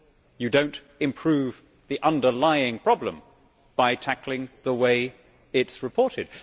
You do not improve the underlying problem by tackling the way it is reported.